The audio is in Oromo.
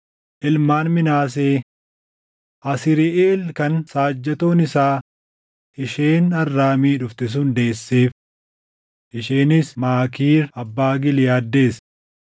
Ilmaan Minaasee: Asriiʼeel kan saajjatoon isaa isheen Arraamii dhufte sun deesseef. Isheenis Maakiir abbaa Giliʼaad deesse.